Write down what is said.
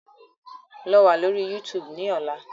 Lọ wa lori YuTuubu ni ọla!